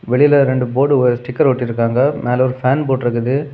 வெளில இரண்டு board sticker ஒட்டி இருக்காங்க மேல ஒரு ஃபேன் இருக்குது.